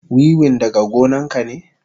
Wiwin daga gonan ka ne?